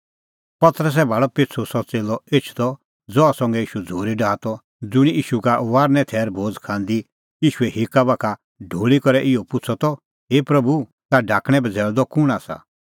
पतरसै भाल़अ पिछ़ू सह च़ेल्लअ एछदअ ज़हा संघै ईशू झ़ूरी डाहा त ज़ुंणी ईशू का फसहे थैरे भोज़ खांदी ईशूए हिक्का बाखा ढूल़ी करै इहअ पुछ़अ त हे प्रभू ताह ढाकणैं बझ़ैल़दअ कुंण आसा